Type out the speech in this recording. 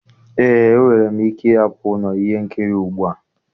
Eé, enwere m ike ịhapụ ụlọ ihe nkiri ugbu a.